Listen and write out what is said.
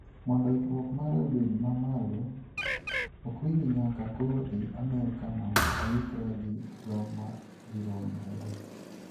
mondo ikruok mare obed mamalon Okwiri Nyaka koro dhi Amerika mondo oikre gi jomagiromre go